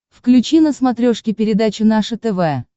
включи на смотрешке передачу наше тв